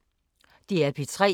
DR P3